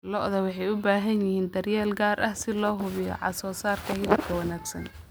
Lo'da lo'da waxay u baahan yihiin daryeel gaar ah si loo hubiyo soosaarka hilibka wanaagsan.